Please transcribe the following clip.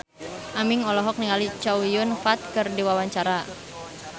Aming olohok ningali Chow Yun Fat keur diwawancara